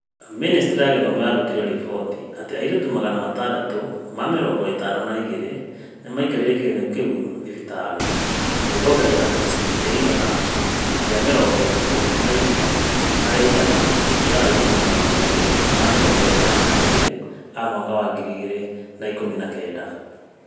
Ministry ya gĩthomo yarutire riboti atĩ airĩtu magana atandatũ ma mĩrongo ĩtano na igĩrĩ nĩ maikarire kĩgeranio kũu thibitarĩ, na gĩkoongerereka na gĩcunjĩ kĩa igana rĩa mĩrongo ĩthatu na ĩmwe harĩ igana gũkĩra airĩtu magana merĩ ma mĩrongo ĩnana na igĩrĩ a mwaka wa ngiri igĩrĩ na ikũmi na kenda.